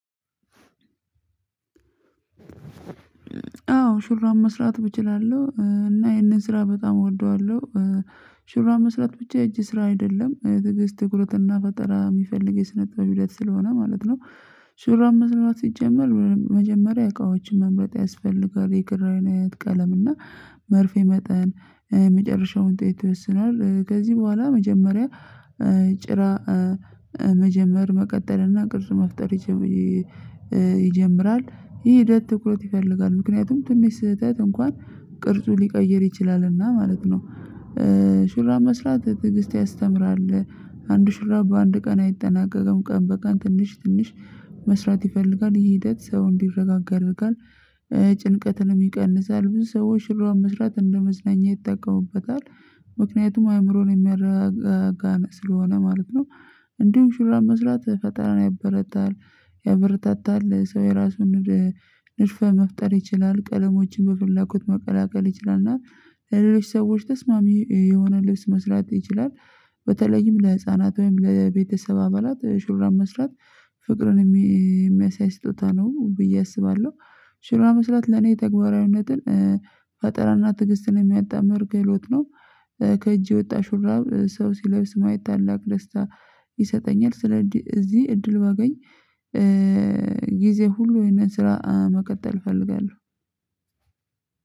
አዎ ሹራብ መስራት እችላለሁ እና ይሄንን ስራ በጣም እወደዋለሁ ሽሩብ መስራት ብቻ የእጅ ስራ አይደለም ትግስት፣ ትኩረትን ፈጠራ የሚፈልግ የስነ ጥበብ ሂደት ስለሆነ ማለት ነው ሹራብ መስራት ሲጀመር መጀመሪያ እቃዎችን መምረጥ ያስፈልጋል የክር አይነት ቀለም እና መርፌ መጠን የመጨረሻውን ጥይት ይወስናል ከዚህ በኋላ መጀመሪያ ጭራ መጀመር መቀጠል እና ቅርጽ መፍጠር ይጀምራል ይሄ ሂደት ትኩረት ይፈልጋል ምክንያቱም ትንሽ ስህተት እንኳን ቅርጹ ሊቀይር ይችላልና ማለት ነው ሹራብ መስራት ትዕግስት ያስተምራል አንድ ሹራብ በአንድ ቀን አይጠናቀቀም ቀን በቀን ትንሽ ትንሽ መስራት ይፈልጋልይህ ሂደት ሰው እንዲረጋጋ ያደርጋል፤ ጭንቀትንም ይቀንሳል ብዙ ሰዎች ሹራብ መስራት እንደመዝናኛ ይጠቀሙበታል ምክንያቱም አእምሮን የሚያረጋጋ ስለሆነ ማለት ነው እንዲሁም ሹራብ መስራት ፈጠራን ያበረታል ያበረታታል ሰው የራሱን ልሽፈህ መፍጠር ይችላል ቀለሞችን በፍላጎት መቀላቀል ይችላል እና ሌሎች ሰዎች ተስማሚ የሆነ ልብስ መስራት ይችላል። በተለይም ለህፃናት ወይም ለቤተሰብ አባላት ሹራብ መስራት ፍቅርን የሚያሳይ ስጦታ ነው ብዬ አስባለሁ። ሹራብ መስራት ለኔ ተግባራዊነትን ፈጠራና ትግስትን የሚያጣምር ክህሎት ነው። ከእጅ የወጣ ሹራብ ሰው ሲለብስ ማየት ታላቅ ደስታ ይሰጠኛል ስለዚህ እዚህ እድል ባገኝ ጊዜ ሁሉ ይሄንን ስራ መቀጠል እፈልጋለሁ